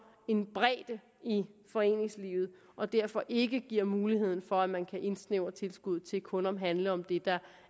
en bredde i foreningslivet og derfor ikke giver mulighed for at man kan indsnævre tilskuddet til kun at handle om det der